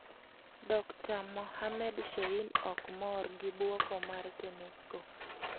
Dkt Mohamed Shein ok mor gi bwoko mar Tanesco